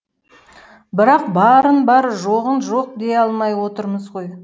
бірақ барын бар жоғын жоқ дей алмай отырмыз ғой